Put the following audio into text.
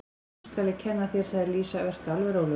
Nú skal ég kenna þér, sagði Lísa, vertu alveg rólegur.